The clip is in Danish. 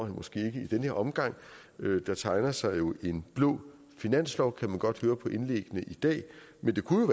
måske ikke i denne omgang der tegner sig en blå finanslov kan man godt høre på indlæggene i dag men det kunne